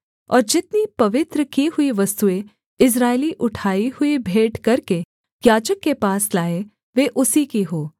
और जितनी पवित्र की हुई वस्तुएँ इस्राएली उठाई हुई भेंट करके याजक के पास लाएँ वे उसी की हों